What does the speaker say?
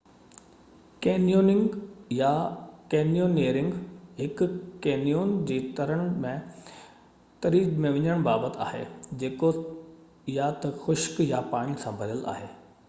canyoning يا: canyoneering هڪ canyon جي تري ۾ وڃڻ بابت آهي، جيڪو يا ته خشڪ يا پاڻي سان ڀريل آهي